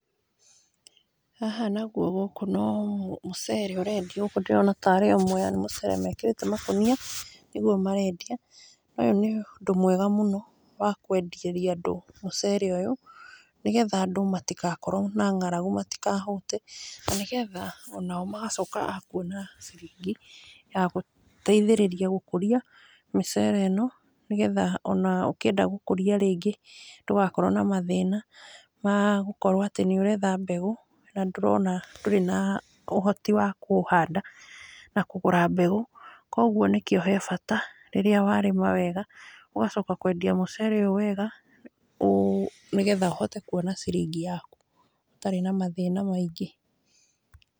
Haha nagwo gũkũ no mũcere ũrendio, gũkũ ndĩrona tarĩ o Mwea, nĩ mũcere mekĩrĩte makũnia, nĩgwo marendia, ũyũ nĩ ũndũ mwega mũno wa kwenderia andũ mũcere ũyũ, nĩgetha andũ matigakorwo na ng'arangu matikahũte, na nĩgetha onao magacoka akuona ciringi ya gũteithĩrĩria gũkũria mĩcere ĩno, nĩgetha ona ũkenda gũkũria rĩngĩ ndũgakorwo na mathĩna, ma gũkorwo atĩ nĩ ũretha mbeũ na ndũrona, ndũrĩ na ũhoti wa kũhanda na kũgũra mbeũ, kogwo nĩkĩo he bata rĩrĩa warĩma wega, ũgacoka kwendia mũcere ũyũ wega, ũ nĩgetha ũhote kuona ciringi yaku ũtarĩ na mathĩna maingĩ.